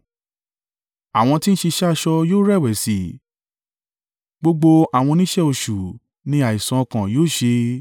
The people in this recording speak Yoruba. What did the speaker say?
Àwọn tí ń ṣiṣẹ́ aṣọ yóò rẹ̀wẹ̀sì, gbogbo àwọn oníṣẹ́ oṣù ni àìsàn ọkàn yóò ṣe.